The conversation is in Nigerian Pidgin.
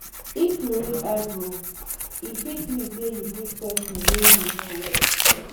if you raise eyebrow e fit mean sey you greet pesin wey you know well